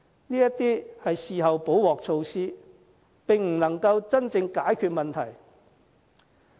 這些是事後"補鑊"措施，並不能夠真正解決問題。